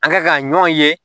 An ka ka ɲɔn ye